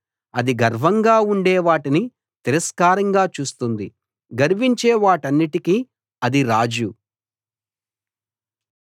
అది గర్వంగా ఉండే వాటిని తిరస్కారంగా చూస్తుంది గర్వించే వాటన్నిటికీ అది రాజు